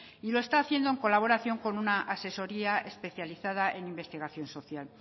y lo está haciendo en colaboración con una asesoría especializada en investigación social